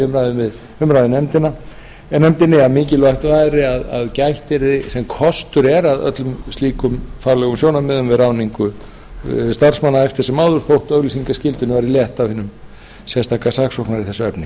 kom sérstaklega fram í umræðum í nefndinni að mikilvægt væri að gætt yrði sem kostur er að öllum slíkum faglegum sjónarmiðum við ráðningu starfsmanna eftir sem áður þótt auglýsingaskyldunni væri létt af hinum sérstaka saksóknara í þessu efni